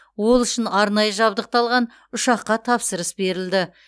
ол үшін арнайы жабдықталған ұшаққа тапсырыс берілді